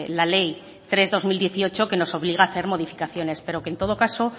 la ley tres barra dos mil dieciocho que nos obliga a hacer modificaciones pero que en todo caso